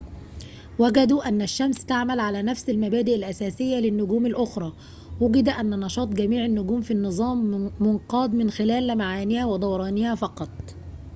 وجدوا أن الشمس تعمل على نفس المبادئ الأساسية للنجوم الأخرى وُجد أن نشاط جميع النجوم في النظام منقادٌ من خلال لمعانها ودورانها فقط